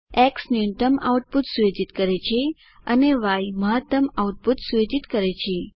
x ન્યુનત્તમ output સુયોજિત કરે છે અને ય મહત્તમ આઉટપુટ સુયોજિત કરે છે